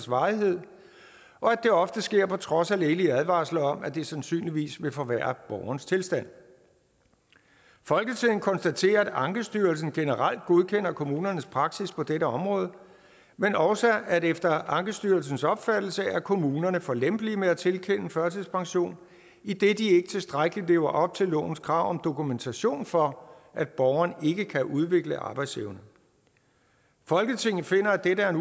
varighed og at det ofte sker på trods af lægelige advarsler om at det sandsynligvis vil forværre borgerens tilstand folketinget konstaterer at ankestyrelsen generelt godkender kommunernes praksis på dette område men også at efter ankestyrelsens opfattelse er kommunerne for lempelige med at tilkende førtidspension idet de ikke tilstrækkeligt lever op til lovens krav om dokumentation for at borgeren ikke kan udvikle arbejdsevne folketinget finder at dette er en